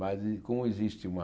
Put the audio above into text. Mas e como existe uma...